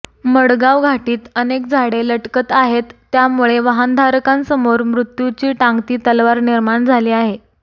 मडगाव घाटीत अनेक झाडे लटकत आहेत त्यामुळे वाहनधारकांसमोर मृत्यूची टांगती तलवार निर्माण झाली आहे